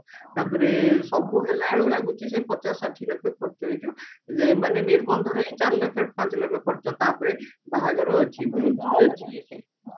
ତାପରେ ସବୁ ହେଲା ବେଳକୁ ଲାଗୁଚି ସେଇ ପଚାଶ ଷାଠିଏ ଲକ୍ଷ ଖର୍ଚ ହେଇଯିବ ଏ ମାନେ ନିର୍ବନ୍ଧରେ ହିଁ ଚାରି ଲକ୍ଷ ପାଞ୍ଚ ଲକ୍ଷ ଖର୍ଚ ତାପରେ ବାହାଘର ଅଛି ଭୋଜି ଅଛି